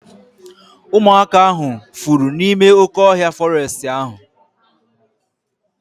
Ụmụaka ahu fụrụ n'ime oké ọhịa fọrestị ahu